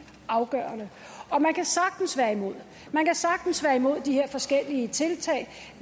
afgørende man kan sagtens være imod man kan sagtens være imod de her forskellige tiltag